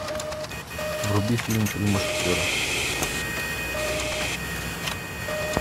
вруби фильм три мушкетера